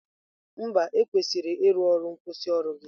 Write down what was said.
Mba, ekwesịrị ịrụ ọrụ nkwusioru gị.